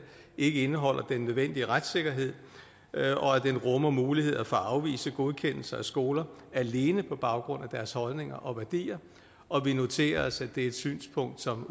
indeholder den nødvendige retssikkerhed og at det rummer mulighed for at afvise godkendelse af skoler alene på baggrund af deres holdninger og værdier og vi noterer os at det er et synspunkt som